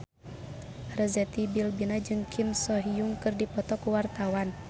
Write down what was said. Arzetti Bilbina jeung Kim So Hyun keur dipoto ku wartawan